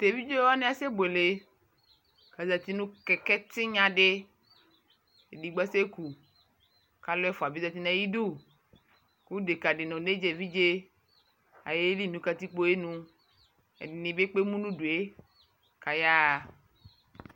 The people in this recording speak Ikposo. Teviɖʒe wani kasɛ bwele nu kɛkɛ tinyadi edigbo kasɛku kaluɛfua bi ƶati nayidu ku dekadi nɔ oneɖʒa eviɖʒeayeli nu katikpoayinu Ɛdini bi epkemu nuduekayaɣa